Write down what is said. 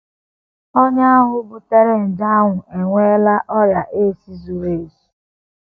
Onye ahụ butere nje ahụ enweela ọrịa AIDS zuru ezu.